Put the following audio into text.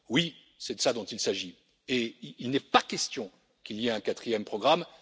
Oui, c'est de cela dont il s'agit et il n'est pas question qu'il y ait un quatrième programme.